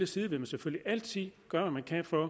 side vil man selvfølgelig altid gøre hvad man kan for